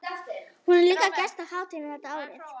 Hún er líka gestur á hátíðinni þetta árið.